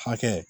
Hakɛ